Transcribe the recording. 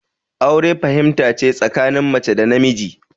Aure fahimta ce tsakanin mace da namiji